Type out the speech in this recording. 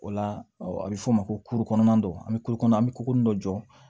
O la a bɛ f'o ma ko kulukɔnɔna don an bɛ kulo kɔnɔ an bɛ ko dɔ jɔ